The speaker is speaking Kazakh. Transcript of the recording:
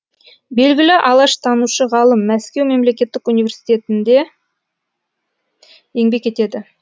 белгілі алаштанушы ғалым мәскеу мемлекеттік университінде еңбек етеді